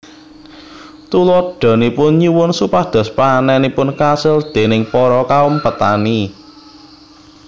Tuladhanipun nyuwun supados panenipun kasil déning para kaum petani